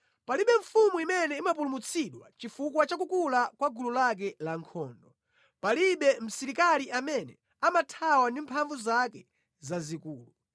Palibe mfumu imene imapulumutsidwa chifukwa cha kukula kwa gulu lake lankhondo; palibe msilikali amene amathawa ndi mphamvu zake zazikulu.